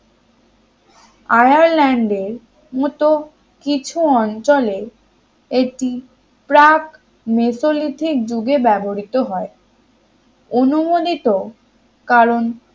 আয়ারল্যান্ডের মতো কিছু অঞ্চলে এটি প্রাক মেসোলিথিক যুগে ব্যবহৃত হয় অনুমনিত কারণ